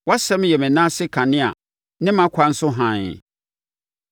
Wʼasɛm yɛ me nan ase kanea ne mʼakwan so hann.